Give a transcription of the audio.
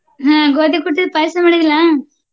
ಹ್ಮ ಗೋಧಿ ಕುಟ್ಟಿದ್ದ ಪಾಯ್ಸಾ ಮಾಡಿದಿಲ್ಲಾ?